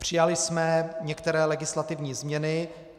Přijali jsme některé legislativní změny.